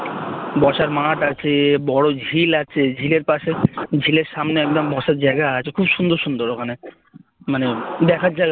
বসার মাঠ আছে বড় ঝিল আছে ঝিলের পাশে ঝিলের সামনে একদম বসার জায়গা আছে খুব সুন্দর সুন্দর ওখানে মানে দেখার জায়গা